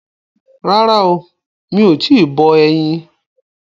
Rárá o, mi ò tíì bọ ẹyin.